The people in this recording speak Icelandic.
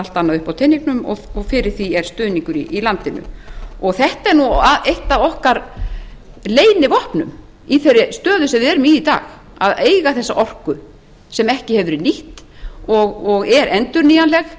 allt annað uppi á teningnum og fyrir því er stuðningur í landinu þetta er eitt af okkar leynivopnum í þeirri stöðu sem við erum í í dag að eiga þessa orku sem ekki hefur verið nýtt og er endurnýjanleg